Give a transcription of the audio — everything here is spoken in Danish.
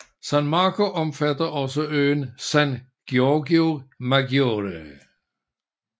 San Marco omfatter også øen San Giorgio Maggiore